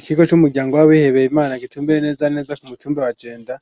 Ikigo c'umuryango w'abihebeye IMANA gitumbireye neza na neza ku mu tumba wa jenda